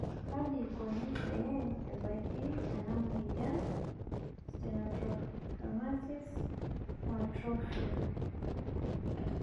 Kaji ikoni pee ebaki ena moyian e Stenotrophomonas maltophilia